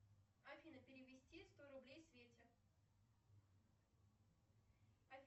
афина перевести сто рублей свете